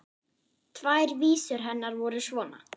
Tvær vísur hennar voru svona